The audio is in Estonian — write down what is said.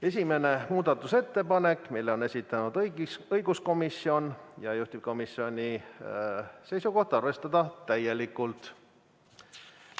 Esimese muudatusettepaneku on esitanud õiguskomisjon, juhtivkomisjoni seisukoht: arvestada täielikult.